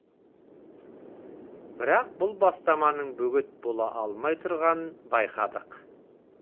бірақ бұл бастаманың бөгет бола алмай тұрғанын байқадық